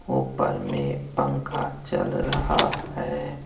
ऊपर में पंखा चल रहा है।